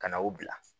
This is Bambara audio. Ka na o bila